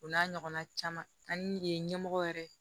O n'a ɲɔgɔnna caman an ye ɲɛmɔgɔ yɛrɛ